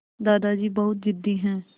दादाजी बहुत ज़िद्दी हैं